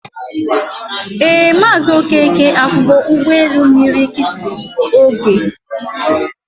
Ee Mazi Okeke afugo Ugbe elu imiri kiti ogee